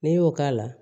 N'i y'o k'a la